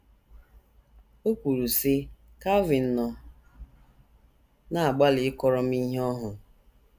O kwuru, sị: “ Calvin nọ na - agbalị ịkọrọ m ihe ọ hụrụ.